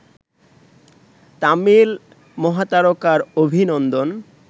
তামিল মহাতারকার অভিনন্দন